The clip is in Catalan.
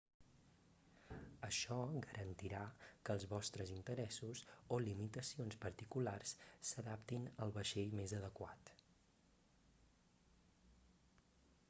això garantirà que els vostres interessos o limitacions particulars s'adaptin al vaixell més adequat